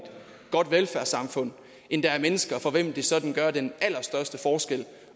godt velfærdssamfund end der er mennesker for hvem det sådan gør den allerstørste forskel at